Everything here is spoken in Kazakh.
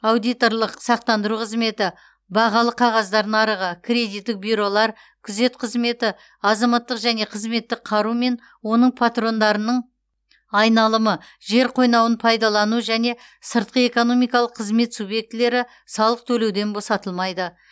аудиторлық сақтандыру қызметі бағалы қағаздар нарығы кредиттік бюролар күзет қызметі азаматтық және қызметтік қару мен оның патрондарының айналымы жер қойнауын пайдалану және сыртқы экономикалық қызмет субъектілері салық төлеуден босатылмайды